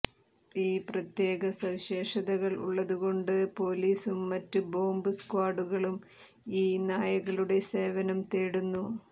ഈ പ്രത്യേക സവിശേഷതകൾ ഉള്ളതുകൊണ്ട് പോലീസും മറ്റ് ബോബ് സ്ക്വാഡുകളും ഈ നായകളുടെ സേവനം തേടുന്നു